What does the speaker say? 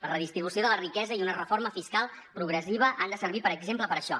la redistribució de la riquesa i una reforma fiscal progressiva han de servir per exemple per això